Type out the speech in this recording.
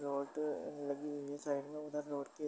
ऑटे लगी हुई है साइड में उधर रोड के --